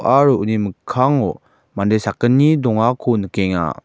aro uni mikkango mande sakgni dongako nikenga.